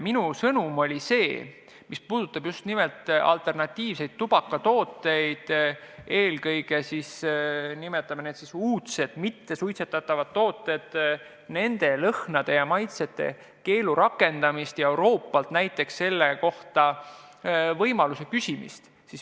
Minu sõnum puudutas just nimelt alternatiivseid tubakatooteid, eelkõige siis uudseid, mittesuitsetatavaid tooteid ja nende lõhnade ja maitsete keelu rakendamist, samuti Euroopalt selle võimaluse küsimist.